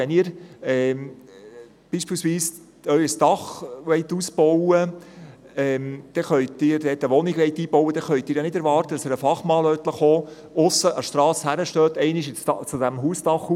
Wenn Sie zum Beispiel Ihr Dach ausbauen möchten, können Sie nicht mit einem Fachmann von der Strasse aus das Haus anschauen und ihm dann sagen: